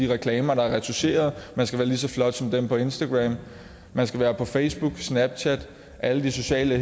reklamer der er retoucherede man skal være ligeså flot som dem på instagram man skal være på facebook snapchat alle de sociale